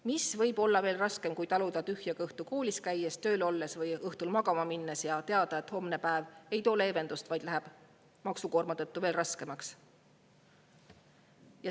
Mis võib olla veel raskem, kui taluda tühja kõhtu koolis käies, tööl olles või õhtul magama minnes ja teada, et homne päev ei too leevendust, vaid läheb maksukoorma tõttu veel raskemaks?